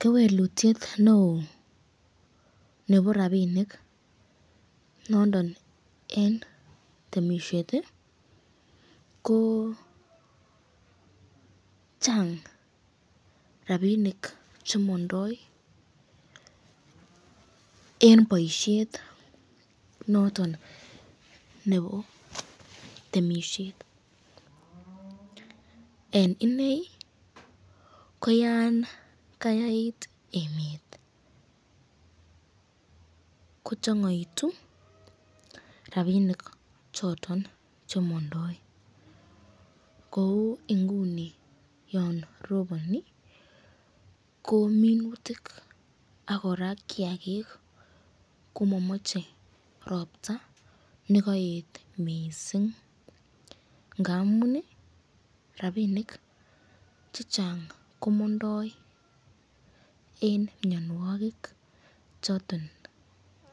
Kewelutyet neo nebo nabinik nondon eng temisyet ko Chang rapinik chemandoi eng boisyet noton nebo temisyet, eng inei ko yan kayait emet ,ko changaitu rapinik choton chemandoi, kou inguni yon ropani ko minutik ak koraa kiakik ko mamache ropta nekaet mising, ngamun rapinik chechang komandoi eng mnyanwakik choton